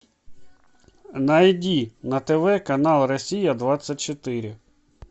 найди на тв канал россия двадцать четыре